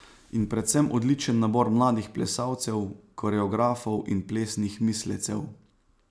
In predvsem odličen nabor mladih plesalcev, koreografov in plesnih mislecev.